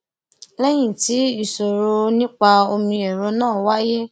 léyìn tí ìṣòro nípa omiẹrọ náà wáyé